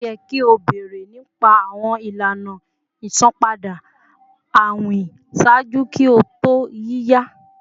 O yẹ ki o beere nipa awọn ilana isanpada awin ṣaaju ki o to yiya!